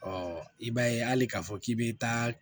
Ɔ i b'a ye hali k'a fɔ k'i bɛ taa